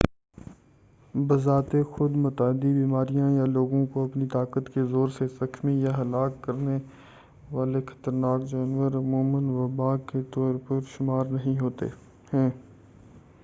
بذات خود متعدی بیماریاں یا لوگوں کو اپنی طاقت کے زور سے زخمی یا ہلاک کرنے والے خطرناک جانور عموماً وبا کے طور پر شمار نہیں ہوتے ہیں